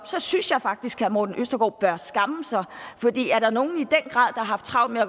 synes jeg faktisk herre morten østergaard bør skamme sig for er der nogen grad har haft travlt med at